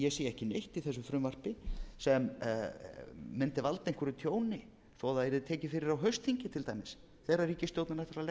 í þessu frumvarpi sem mundi valda einhverju tjóni þó að það yrði tekið fyrir á haustþingi til dæmis þegar ríkisstjórnin ætlar að leggja fram annað